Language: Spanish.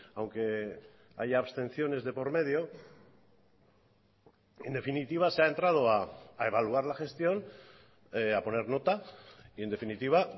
aunque haya abstenciones de por medio en definitiva se ha entrado a evaluar la gestión a poner nota y en definitiva